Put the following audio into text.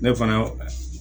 Ne fana